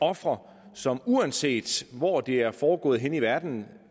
ofre som uanset hvor det er foregået i verden